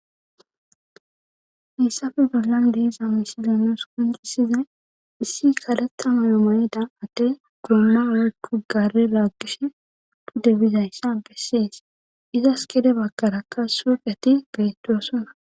hissafe bollan deeza misileenos kunxisize issi kaleta mayomayeda atte goomma awa kugare laaggish tuddebizayssa bessiyes iza s kede bagkarakka suuqeti beettosona